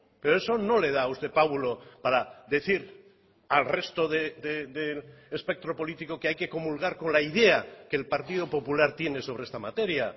pero eso no le da a usted pábulo para decir al resto de espectro político que hay que comulgar con la idea que el partido popular tiene sobre esta materia